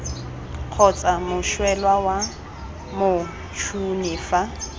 kgotsa moswelwa fa motšhoni fa